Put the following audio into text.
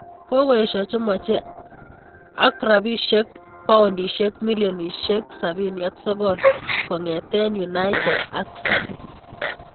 Kokoesho chemeche ak rabisiek paunisiek milionir 79 kongete United ak City.